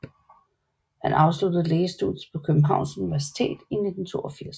Han afsluttede lægestudiet på Københavns Universitet i 1982